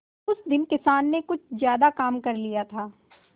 उस दिन किसान ने कुछ ज्यादा काम कर लिया था